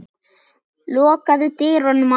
Lokaðu dyrunum á eftir þér.